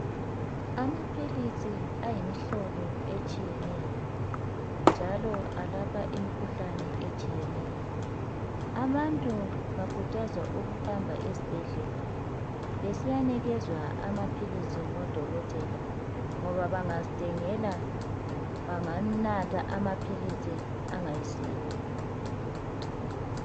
Amaphilisi ayimihlobo etshiyeneyo, njalo alapha imikhuhlane etshiyeneyo. Abantu bakhuthazwa ukuhamba esibhedlela, besiyanikezwa amaphilisi, ngodokotela, ngoba bangazithengela, banganatha amaphilisi angayisiwo,